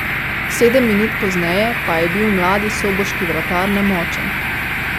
Sedem minut pozneje pa je bil mladi soboški vratar nemočen.